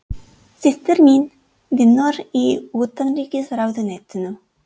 Systir mín vinnur í Utanríkisráðuneytinu.